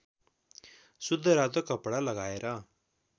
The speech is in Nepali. शुद्ध रातो कपडा लगाएर